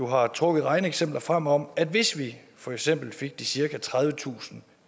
har trukket regneeksempler frem om at hvis vi for eksempel fik de cirka tredivetusind